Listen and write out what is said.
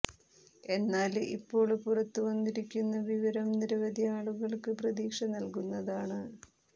എന്നാല് ഇപ്പോള് പുറത്തു വന്നിരിക്കുന്ന വിവരം നിരവധി ആളുകള്ക്ക് പ്രതീക്ഷ നല്കുന്നതാണ്